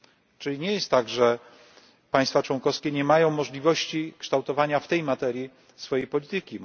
Czyli nie jest tak, że państwa członkowskie nie mają możliwości kształtowania w tej materii swojej polityki.